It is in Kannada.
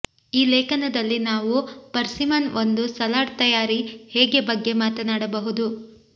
ಈ ಲೇಖನದಲ್ಲಿ ನಾವು ಪರ್ಸಿಮನ್ ಒಂದು ಸಲಾಡ್ ತಯಾರಿ ಹೇಗೆ ಬಗ್ಗೆ ಮಾತನಾಡಬಹುದು